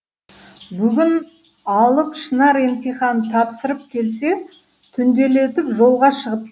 бүгін алып шынар емтихан тапсырып келсе түнделетіп жолға шығып